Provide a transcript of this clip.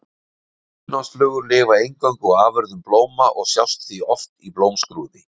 Hunangsflugur lifa eingöngu á afurðum blóma og sjást því oft í blómskrúði.